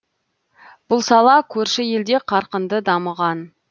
бұл сала көрші елде қарқынды дамыған